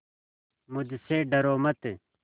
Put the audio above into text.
मुझसे डरो मत